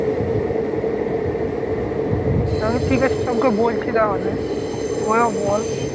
তালে ঠিক আছে সবকে বলছি তাহলে ওরা বল